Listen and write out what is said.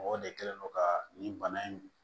Mɔgɔ de kɛlen don ka nin bana in